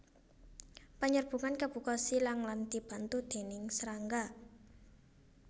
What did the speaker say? Panyerbukan kabuka silang lan dibantu déning srangga